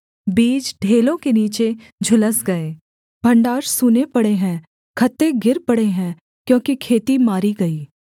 बीज ढेलों के नीचे झुलस गए भण्डार सूने पड़े हैं खत्ते गिर पड़े हैं क्योंकि खेती मारी गई